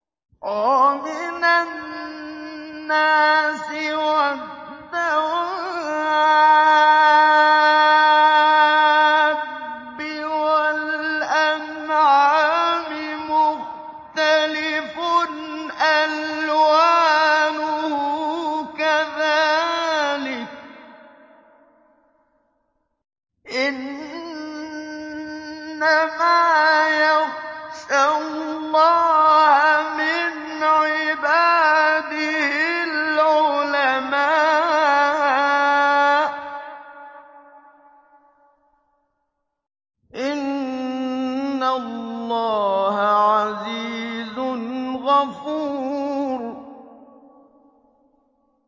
وَمِنَ النَّاسِ وَالدَّوَابِّ وَالْأَنْعَامِ مُخْتَلِفٌ أَلْوَانُهُ كَذَٰلِكَ ۗ إِنَّمَا يَخْشَى اللَّهَ مِنْ عِبَادِهِ الْعُلَمَاءُ ۗ إِنَّ اللَّهَ عَزِيزٌ غَفُورٌ